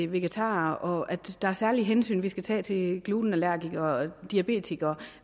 vegetarer og at der er særlige hensyn vi skal tage til glutenallergikere og diabetikere